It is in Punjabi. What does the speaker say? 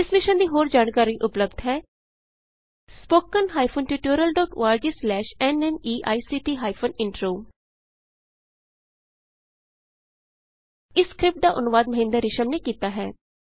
ਇਸ ਮਿਸ਼ਨ ਦੀ ਹੋਰ ਜਾਣਕਾਰੀ ਉਪਲੱਭਦ ਹੈ spoken hyphen tutorial dot org slash NMEICT hyphen intro ਇਸ ਸਕਰਿਪਟ ਦਾ ਅਨੁਵਾਦ ਮਹਿੰਦਰ ਰਿਸ਼ਮ ਨੇ ਕੀਤਾ ਹੈ